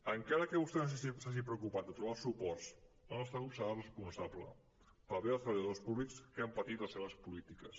encara que vostè no s’hagi preocupat de trobar els suports el nostre grup serà responsable pel bé dels treballadors públics que han patit les seves polítiques